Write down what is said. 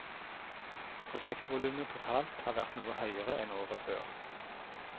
Prosjektvolumet totalt har vært noe høyere enn året før.